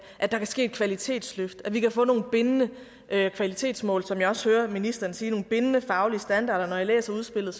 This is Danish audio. at der kan ske et kvalitetsløft at vi kan få nogle bindende kvalitetsmål som jeg også hører ministeren sige nogle bindende faglige standarder og når jeg læser udspillet